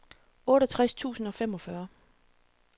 otteogtres tusind og femogfyrre